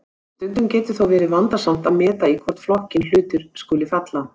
Stundum getur þó verið vandasamt að meta í hvorn flokkinn hlutir skuli falla.